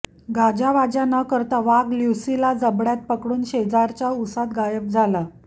गाजावाजा न करता वाघ ल्युसीला जबड्यात पकडून शेजारच्या उसात गायब झाला